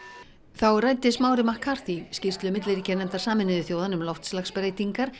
þá ræddi Smári McCarthy skýrslu milliríkjanefndar Sameinuðu þjóðanna um loftslagsbreytingar